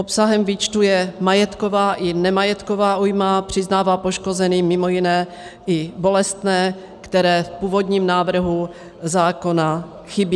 Obsahem výčtu je majetková i nemajetková újma, přiznává poškozeným mimo jiné i bolestné, které v původním návrhu zákona chybí.